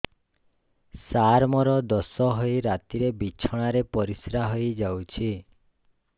ସାର ମୋର ଦୋଷ ହୋଇ ରାତିରେ ବିଛଣାରେ ପରିସ୍ରା ହୋଇ ଯାଉଛି